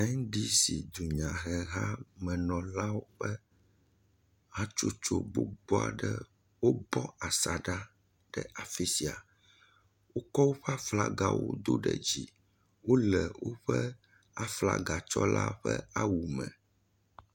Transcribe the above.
NDC dunyahehamenɔlawo ƒe hatsotso gbogbo aɖe wobɔ asaɖa ɖe afi sia. Wokɔ woƒe aflagawo do ɖe dzi. Wole aflagatsɔla ƒe awu me.